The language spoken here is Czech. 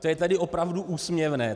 To je tedy opravdu úsměvné.